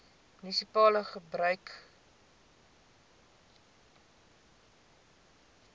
munisipale gebied gebruik